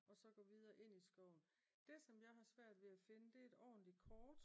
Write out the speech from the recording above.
Og så gå videre ind i skoven. Det som jeg har svært ved at finde det er et ordentligt kort